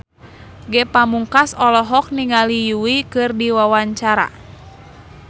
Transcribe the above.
Ge Pamungkas olohok ningali Yui keur diwawancara